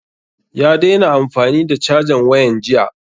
Ya daina amfani da cajan wayan jiya